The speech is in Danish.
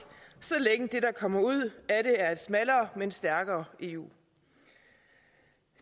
så længe det der kommer ud af det er et smallere men stærkere eu